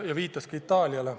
Ta viitas Itaaliale.